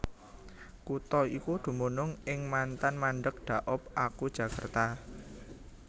Kutha iki dumunung ing mantan mandeg Daop aku Jakarta